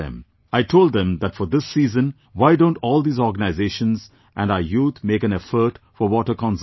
I told them that for this season why don't all these organizations and our youth make an effort for water conservation